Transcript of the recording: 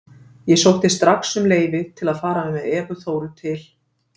Ég sótti strax um leyfi til að fara með Evu Þóru til